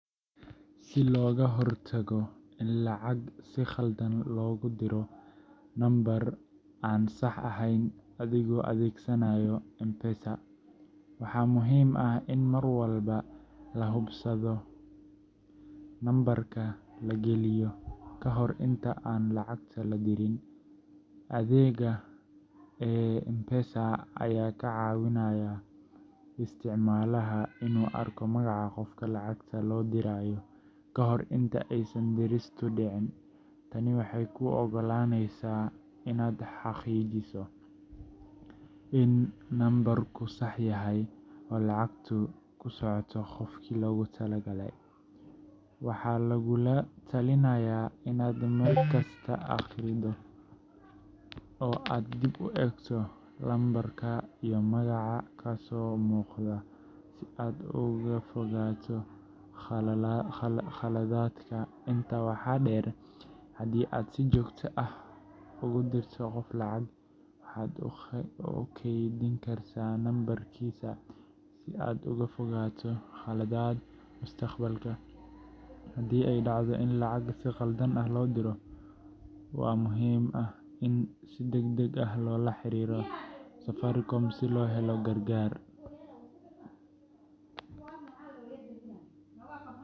Si looga hortago in lacag si khaldan loogu diro nambar aan sax ahayn adigoo adeegsanaya M-Pesada, waxaa muhiim ah in mar walba la hubsado nambarka la gelinayo ka hor inta aan lacagta la dirin. Adeegga Hakikisha ee M-Pesada ayaa ka caawinaya isticmaalaha inuu arko magaca qofka lacagta loo dirayo ka hor inta aysan diristu dhicin. Tani waxay kuu ogolaaneysaa inaad xaqiijiso in nambarku sax yahay oo lacagtu ku socoto qofkii loogu talagalay. Waxaa lagugula talinayaa inaad markasta akhrido oo aad dib u eegto lambarka iyo magaca ka soo muuqda si aad uga fogaato khaladaadka. Intaa waxaa dheer, haddii aad si joogto ah ugu dirto qof lacag, waxaad u kaydin kartaa nambarkiisa si aad uga fogaato qaladaad mustaqbalka. Haddii ay dhacdo in lacag si qalad ah loo diro, waxaa muhiim ah in si degdeg ah loola xiriiro Safaricom si loo helo gargaar.